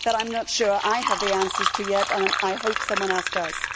I am not sure I have the answers to it yet and I hope someone else does.